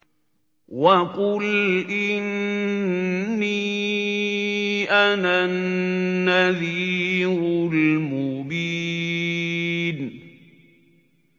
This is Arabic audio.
وَقُلْ إِنِّي أَنَا النَّذِيرُ الْمُبِينُ